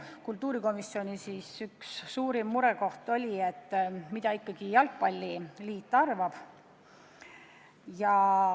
Kultuurikomisjoni põhiline murekoht oli, mida ikkagi jalgpalliliit arvab.